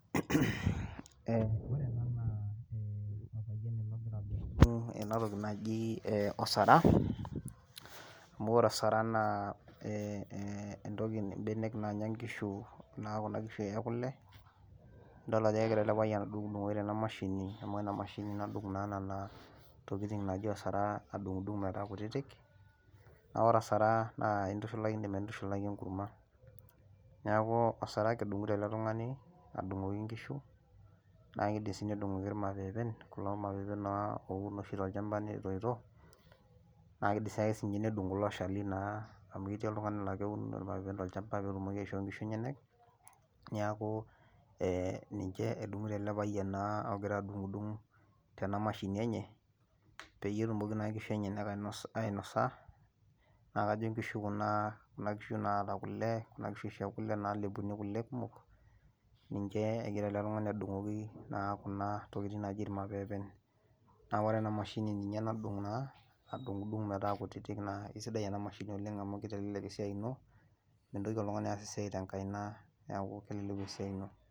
Ee ore ena naa olpayian ele ogira aadotu ena toki naji osara. amu ore osara naa, entoki, ibenek naanyae nkishu naa Kuna kishu ekule, idol ajo kegira ele payian adungdungoki tena mashini, amu ena mashini nadung naa Nena, tokitin naaji osara, adungidung' metaa kutitik. naa ore osara intushulaki enkurma. neeku osara ake edungoto ele tungani, adungoki nkishu. naa kidim sii nedungoki ilmapeepen. kulo mapeepen oun oshi tolchampa. netoito, naa kidim siake nedung kulo ooshali naa, amu ketii oltungani nedung kulo mapeepen, tolchampa peetumoki aishoo nkishu enyenyek, neeku, ee ninche edungoto ele payian ogira adungidung', tena mashini enye peyie etumoki naa nkishu enyenak ainosa naa kajo nkishu kuna, naata kule, Kunaa oshi naalepuni kule kumok, ninche egira ele tungani adungoki naa Kuna tokitin naji ilmapeepen, naa ore ena mashini ninye nadung naa adungidung' metaa kutitik naa, isidai ena mashini oleng, amu kitelelek esiai ino, mintoki oltungani aas esiai tenkaina, neeku kelelek esiai ino.